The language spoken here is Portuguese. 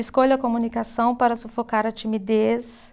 Escolho a comunicação para sufocar a timidez.